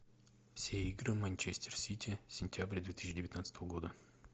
все игры манчестер сити сентябрь две тысячи девятнадцатого года